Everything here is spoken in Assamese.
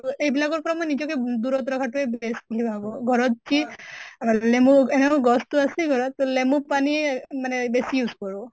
আৰু আইবিলাকৰ পৰা মই নিজকে দূৰত ৰখাতোই best বুলি ভাবো। ঘৰত লেমু এনেও গছটো আছেই ঘৰত, তʼ লেমু পানী মানে বেছি use কৰোঁ।